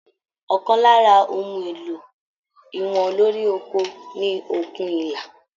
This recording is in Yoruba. Ọkàn lára ohùn èlò ìwọ̀n lórí oko ní okùn ìlà.